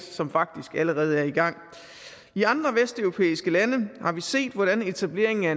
som faktisk allerede er i gang i andre vesteuropæiske lande har vi set hvordan etableringen af